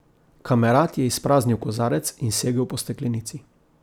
Kamerad je izpraznil kozarec in segel po steklenici.